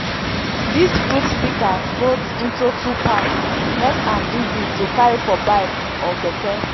dis fruit pika fold into two parts mek am easy to carry for bike or keke